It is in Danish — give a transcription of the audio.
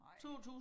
Nej